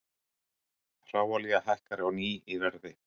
Hráolía hækkar á ný í verði